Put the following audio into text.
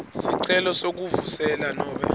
sicelo sekuvuselela nobe